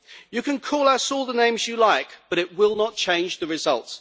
You can call us all the names you like, but it will not change the result.